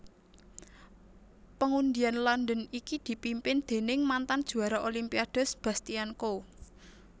Pengundian London iki dipimpin déning mantan juwara Olimpiade Sebastian Coe